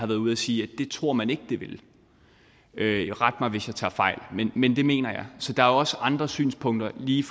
været ude at sige at det tror man ikke det vil vil ret mig hvis jeg tager fejl men jeg mener så der er også andre synspunkter lige